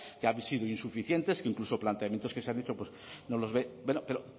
que han sido insuficientes que incluso planteamientos que se han hecho no los ve pero